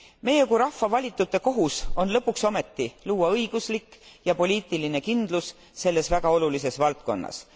Meie kui rahva valitute kohus on lõpuks ometi luua õiguslik ja poliitiline kindlus selles väga olulises valdkonnas.